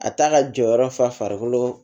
A t'a ka jɔyɔrɔ fa farikolo